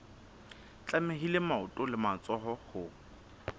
tlamehile maoto le matsoho ho